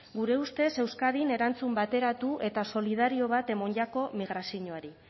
gure ustez euskadin erantzun bateratu eta solidario bat emon jako migraziñoari